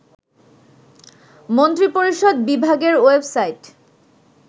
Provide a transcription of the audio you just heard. মন্ত্রিপরিষদ বিভাগের ওয়েবসাইট